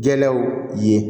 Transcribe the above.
Jɛlaw ye